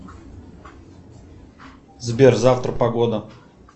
сбер завтра погода